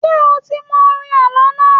Ṣé o ti mọ orin àlọ́ náà?